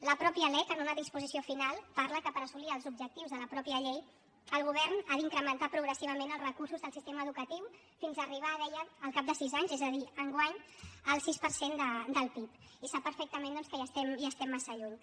la mateixa lec en una disposició final parla que per assolir els objectius de la mateixa llei el govern ha d’incrementar progressivament els recursos del sistema educatiu fins a arribar deia al cap de sis anys és a dir enguany al sis per cent del pib i sap perfectament doncs que hi estem massa lluny